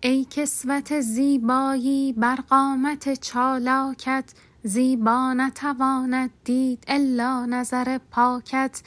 ای کسوت زیبایی بر قامت چالاکت زیبا نتواند دید الا نظر پاکت